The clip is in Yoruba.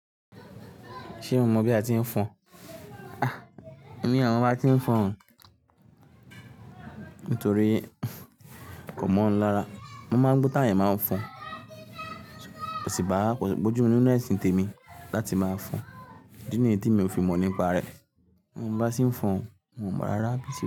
Ṣé o mọ̀ bí a ti ń fọn? Ah! Èmi o mo bá tí ń fọn nítorí kò mọ̀ ńlára. Mo máa ń gbó t'awon eeyan máa ń fọn. Ṣùgbọ́n ko síbàá, ko si bojumu ninu esin tèmi láti máa fọn. Ìdí ni tí mi ò fi mọ̀ nípa rẹ. Mo bá sì ń fọn, n ò mọ̀ rárá bí i ṣe.